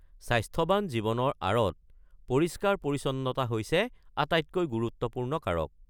স্বাস্থ্যৱান জীৱনৰ আঁৰত পৰিষ্কাৰ-পৰিচ্ছন্নতা হৈছে আটাইতকৈ গুৰুত্বপূৰ্ণ কাৰক।